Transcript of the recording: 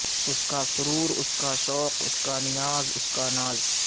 اس کا سرور اس کا شوق اسکا نیاز اس کا ناز